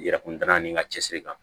Yɛrɛ kun da ni ka cɛsiri kan